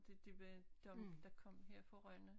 Det det var dem der kom her fra Rønne